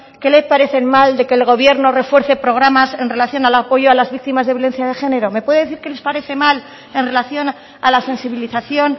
qué les parece mal de que el gobierno refuerce programas en relación al apoyo a las víctimas de violencia de género me pueden decir qué les parece mal en relación a la sensibilización